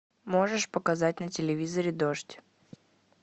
можешь показать на телевизоре дождь